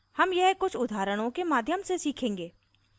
हम यह कुछ उदाहरणों के माध्यम से सीखेंगे